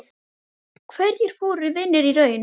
Hverjir voru vinir í raun?